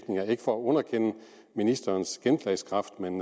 ikke for at underkende ministerens gennemslagskraft men